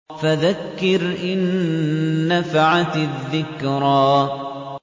فَذَكِّرْ إِن نَّفَعَتِ الذِّكْرَىٰ